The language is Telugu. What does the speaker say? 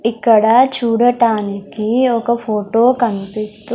ఇక్కడ చూడటానికి ఒక ఫోటో కనిపిస్తూ.